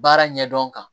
Baara ɲɛdɔn kan